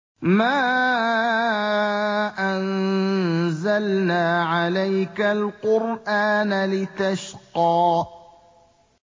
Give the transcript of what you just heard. مَا أَنزَلْنَا عَلَيْكَ الْقُرْآنَ لِتَشْقَىٰ